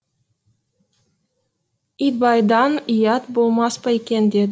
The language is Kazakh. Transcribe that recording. итбайдан ұят болмас па екен деді